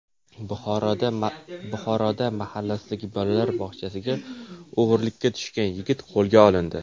Buxoroda mahallasidagi bolalar bog‘chasiga o‘g‘rilikka tushgan yigit qo‘lga olindi.